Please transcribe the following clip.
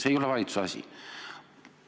See ei ole valitsuse asi.